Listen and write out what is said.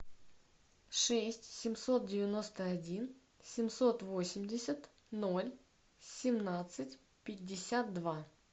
шесть семьсот девяносто один семьсот восемьдесят ноль семнадцать пятьдесят два